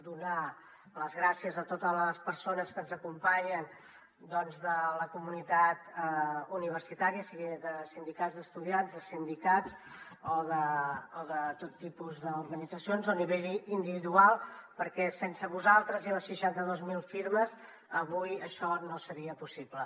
donar les gràcies a totes les persones que ens acompanyen de la comunitat universitària siguin de sindicats d’estudiants de sindicats o de tot tipus d’organitzacions o a nivell individual perquè sense vosaltres i les seixanta dos mil firmes avui això no seria possible